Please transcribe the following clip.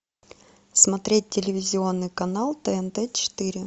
смотреть телевизионный канал тнт четыре